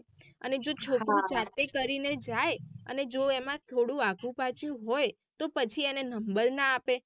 અને જો છોકરું જાતે કરીને જાય અને જો એમાં થોડું આગુ પાછું હોય તો પછી એને નંબર ના આપે.